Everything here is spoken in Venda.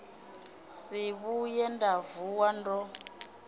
si vhuye nda vuwa ndo